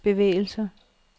bevægelser